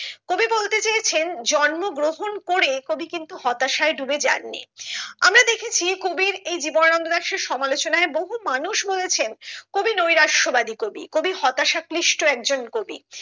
কবি বলতে চেয়েছেন জন্ম গ্রহণ করে কবি কিন্তু হতাশায় ডুবে যান নি আমরা দেখেছি কবির এই জীবনানন্দ দাসের সমালোচনায় বহু মানুষ বলেছেন কবি নৈরাশ্য বাদী কবি কবি হতাশা ক্লিষ্ট একজন কবি